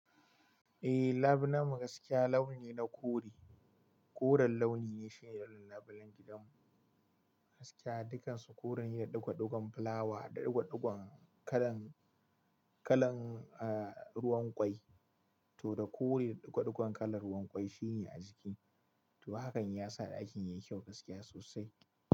Eh, lab na mu gaskiya launine na kore. Koren launi ne shine irin lablen gidan mu gaskiya. Dukansu kore ne da ɗigo ɗigon filawa da ɗigo ɗigon kalan, kalan eh ruwan kwai to da kore da ɗigo ɗigon kalan ruwan kwai shine a jiki. To hakan ya sa ɗakin yayi kyau gaskiya sosai.